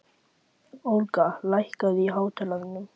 Olga, lækkaðu í hátalaranum.